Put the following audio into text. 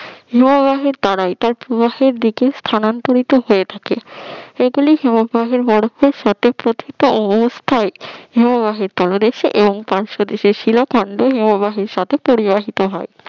হিমবাহের দ্বারা তার প্রবাহের দিকে স্থানান্তরিত হয়ে থাকে এগুলি হিমবাহের বরফের সাথে প্রথিত অবস্থায় হিমবাহের তলদেশে এবং পার্শ্বদেশে শিলা খন্ড হিমবাহের সাথে পরিবাহিত হয়